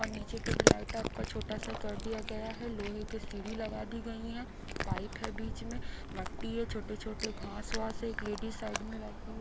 और नीचे पे ढलाई टाइप का छोटा सा कर दिया गया है लोहे के सीढ़ी लगा दी गई है पाइप है बीच में मट्टी है छोटे-छोटे घास वास है एक लेडीज साइड में बैठी है।